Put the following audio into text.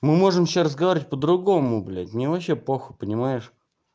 мы можем сейчас разговаривать вообще по-другому блядь мне вообще похуй понимаешь